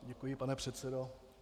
Děkuji, pane předsedo.